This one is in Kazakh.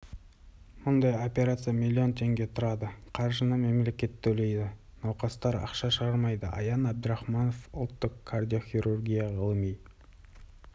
мұндай операция миллион теңге тұрады қаржыны мемлекет төлейді науқастар ақша шығармайды аян әбдірахманов ұлттық кардиохирургия ғылыми